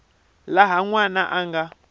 laha n wana a nga